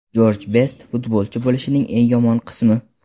Jorj Best Futbolchi bo‘lishning eng yomon qismi.